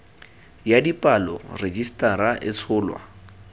ya dipalo rejisetara e tsholwa